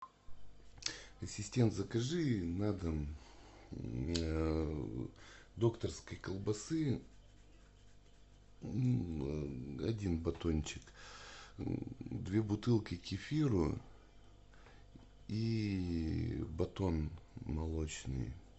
ассистент закажи на дом докторской колбасы один батончик две бутылки кефиру и батон молочный